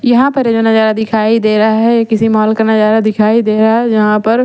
यहाँ पर जो नजारा दिखाई दे रहा है ये किसी मॉल का नजारा दिखाई दे रहा है जहां पर--